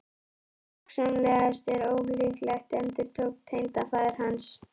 Hugsanlegt en ólíklegt endurtók tengdafaðir hans.